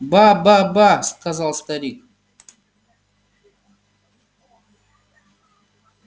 ба ба ба ба сказал старик